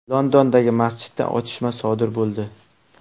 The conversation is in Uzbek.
Londondagi masjidda otishma sodir bo‘ldi.